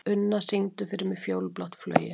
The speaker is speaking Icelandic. Unna, syngdu fyrir mig „Fjólublátt flauel“.